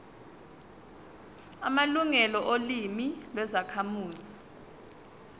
amalungelo olimi lwezakhamuzi